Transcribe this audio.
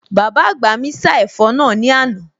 Bàbá àgbà mi sá ẹ̀fọ́ náà ní àná